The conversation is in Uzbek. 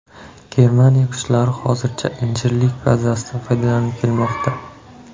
Germaniya kuchlari hozircha Injirlik bazasidan foydalanib kelmoqda.